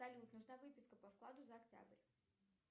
салют нужна выписка по вкладу за октябрь